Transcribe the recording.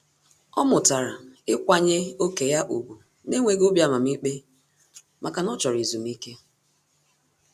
Ọ́ mụ́tàrà íkwànyé ókè ya ùgwù n’énwéghị́ obi amamikpe màkà na ọ́ chọ́rọ́ ezumike.